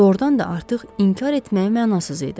Doğrudan da artıq inkar etməyə mənasız idi.